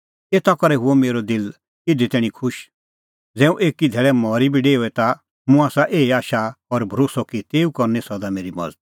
एता करै हुअ मेरअ दिल इधी तैणीं खुश ज़ै हुंह एकी धैल़ै मरी बी डेओए ता मुंह आसा एही आशा और भरोस्सअ कि तेऊ करनी सदा मेरी मज़त